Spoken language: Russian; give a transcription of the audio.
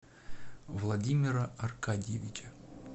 владимира аркадьевича